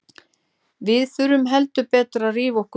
Við þurfum heldur betur að rífa okkur upp.